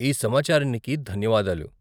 ఈ సమాచారానికి ధన్యవాదాలు.